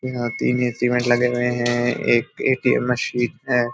यहाँ तीन लगे हुए हैं एक ए.टी.एम. मशीन है।